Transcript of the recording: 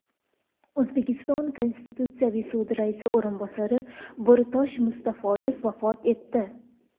O‘zbekiston Konstitutsiyaviy sudi raisi o‘rinbosari Bo‘ritosh Mustafoyev vafot etdi .